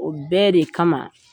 O bɛɛ de kama